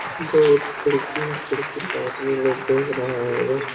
बोहुत खिड़की खिड़की साथ में लोग देख रहा है।